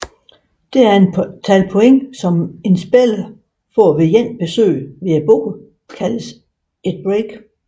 Det antal point en spiller får ved ét besøg ved bordet kaldes et break